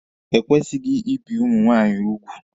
E kwesịghị ibi ụmụ nwaanyị úgwù.